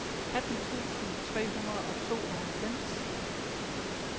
atten tusind tre hundrede og tooghalvfems